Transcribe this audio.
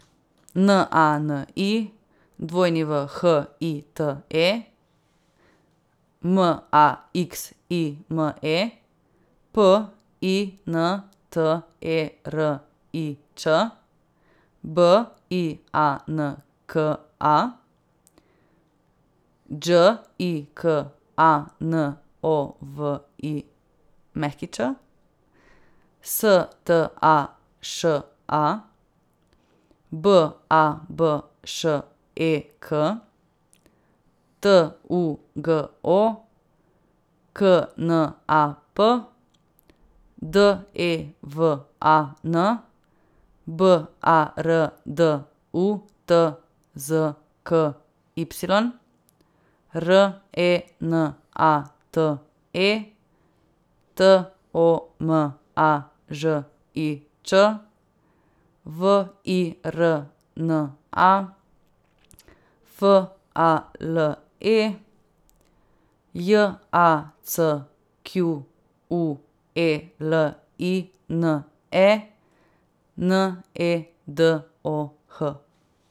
N A N I, W H I T E; M A X I M E, P I N T E R I Č; B I A N K A, Đ I K A N O V I Ć; S T A Š A, B A B Š E K; T U G O, K N A P; D E V A N, B A R D U T Z K Y; R E N A T E, T O M A Ž I Č; V I R N A, F A L E; J A C Q U E L I N E, N E D O H.